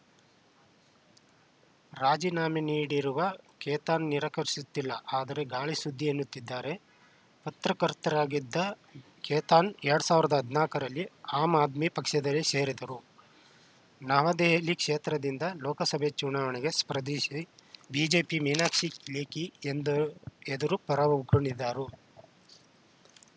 ರಾಜೀನಾಮೆ ನೀಡಿರುವುದನ್ನು ಖೇತಾನ್‌ ನಿರಾಕರಿಸುತ್ತಿಲ್ಲ ಆದರೆ ಗಾಳಿ ಸುದ್ದಿ ಎನ್ನುತ್ತಿದ್ದಾರೆ ಪತ್ರಕರ್ತರಾಗಿದ್ದ ಖೇತಾನ್‌ ಎರಡ್ ಸಾವಿರದ ಹದಿನಾಕ ರಲ್ಲಿ ಆಮ್‌ ಆದ್ಮಿ ಪಕ್ಷ ಸೇರಿದ್ದರು ನವದೆಹಲಿ ಕ್ಷೇತ್ರದಿಂದ ಲೋಕಸಭೆ ಚುನಾವಣೆಗೆ ಸ್ಪರ್ಧಿಸಿ ಬಿಜೆಪಿಯ ಮೀನಾಕ್ಷಿ ಲೇಖಿ ಎಂದರು ಎದುರು ಪರಾಉಗುಳಿದರು